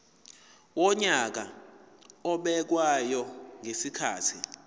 wonyaka obekwayo ngezikhathi